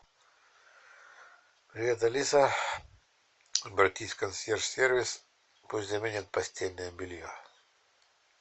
привет алиса обратись в консьерж сервис пусть заменят постельное белье